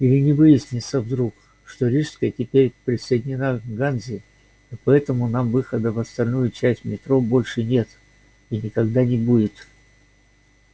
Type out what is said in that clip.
или не выяснится вдруг что рижская теперь присоединена к ганзе и поэтому нам выхода в остальную часть метро больше нет и никогда не будет